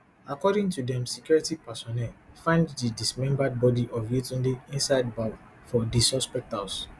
according to dem security personnel find di dismembered bodi of yetunde inside bowl for di suspect house